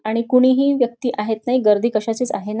आणि कुणीही व्यक्ती आहेत नाही गर्दी कशाचीच आहे नाही.